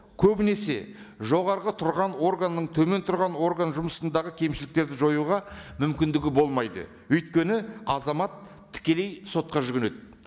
көбінесе жоғарғы тұрған органның төмен тұрған орган жұмысындағы кемшіліктерді жоюға мүмкіндігі болмайды өйткені азамат тікелей сотқа жүгінеді